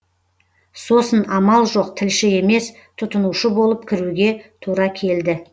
сосын амал жоқ тілші емес тұтынушы болып кіруге тура келді